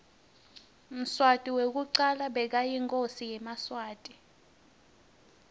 mswati wekucala bekayinkhosi yemaswati